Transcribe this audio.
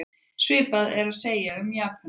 Svipað er að segja um japönsku.